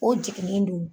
O jigilen don